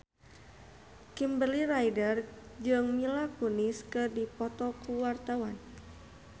Kimberly Ryder jeung Mila Kunis keur dipoto ku wartawan